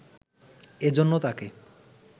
এজন্য তাঁকে